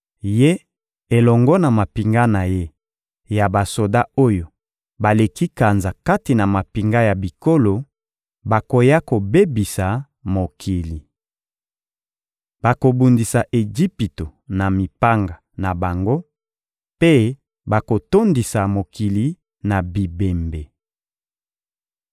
Ye elongo na mampinga na ye ya basoda oyo baleki kanza kati na mampinga ya bikolo, bakoya kobebisa mokili. Bakobundisa Ejipito na mipanga na bango mpe bakotondisa mokili na bibembe.